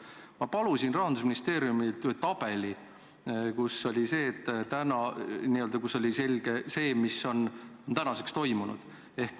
Ma palusin Rahandusministeeriumilt ühe tabeli, kust näeb selgelt, mis on tänaseks toimunud.